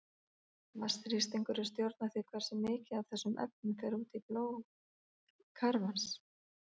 Vatnsþrýstingur stjórnar því hversu mikið af þessum efnum fer út í blóð kafarans.